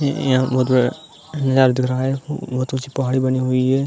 यह बहोत बड़ा नजारा दिख रहा है। बहोत ऊंची पहाड़ी बनी हुई है।